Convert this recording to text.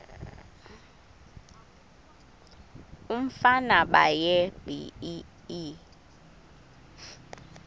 umfana baye bee